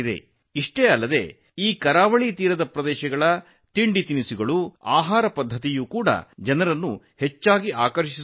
ಅಷ್ಟೇ ಅಲ್ಲ ಈ ಕರಾವಳಿ ಪ್ರದೇಶಗಳ ತಿನಿಸುಗಳು ಜನರನ್ನು ಆಕರ್ಷಿಸುತ್ತವೆ